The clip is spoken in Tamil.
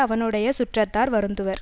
அவனுடைய சுற்றத்தார் வருந்துவர்